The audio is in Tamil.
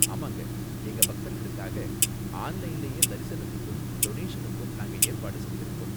ஆமாங்க, எங்க பக்தர்களுக்காக ஆன்லைன்லயே தரிசனத்துக்கும் டொனேஷனுக்கும் நாங்க ஏற்பாடு செஞ்சுருக்கோம்.